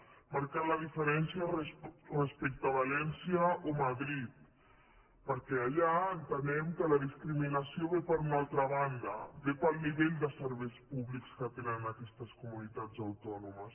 hem marcat la diferència respecte a valència o madrid perquè allà entenem que la discriminació ve per una altra banda ve pel nivell de serveis públics que tenen aquestes comunitats autònomes